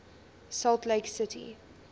salt lake city